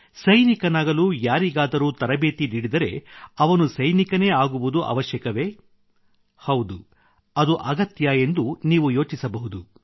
ಸೈನಿಕನಾಗಲು ಯಾರಿಗಾದರೂ ತರಬೇತಿ ನೀಡಿದರೆ ಅವನು ಸೈನಿಕನೇ ಅಗುವುದು ಅವಶ್ಯಕವೇ ಹೌದು ಅದು ಅಗತ್ಯ ಎಂದು ನೀವು ಯೋಚಿಸಬಹುದು